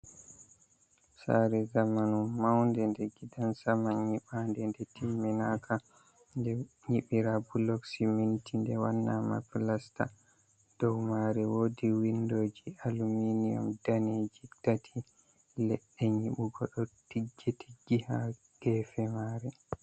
Sare zamanu maunde nde gidansaman nyiɓande nde timminaka, nde nyibira bulok be siminti nde waɗa ma pilesta. dow mare wodi windoji aluminium dane ji tati, leɗɗe nyiɓugo ɗo tiggi tiggi ha gefe mare.